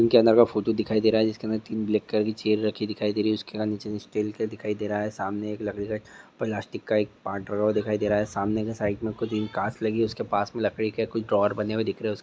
के अंदर का फोटो दिखाई दे रहा है जिसके अंदर तीन ब्लैक कलर की चैर रखी दिखाई दे रही है उसका नीचे का स्टील का दिखाई दे रहा है सामने एक लकड़ी का प्लास्टिक का एक पार्ट ड्रोवर दिखाई दे रहा है सामने एक साइड मे कूच कांच लगी है उसके पास मे कूच लकड़ी के ड्रोवर बने हुए दिख रहे है।